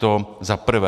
To za prvé.